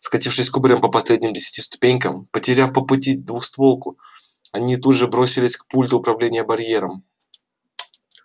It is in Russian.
скатившись кубарем по последним десяти ступенькам потеряв по пути двустволку они тут же бросились к пульту управления барьером